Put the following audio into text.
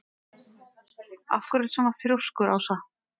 Af hverju ertu svona þrjóskur, Ása?